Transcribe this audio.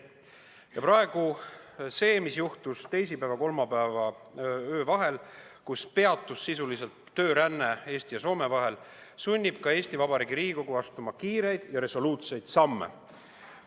Ja see, mis juhtus teisipäeva öösel vastu kolmapäeva, kui sisuliselt peatus tööränne Eesti ja Soome vahel, sunnib ka Eesti Vabariigi Riigikogu astuma kiireid ja resoluutseid samme.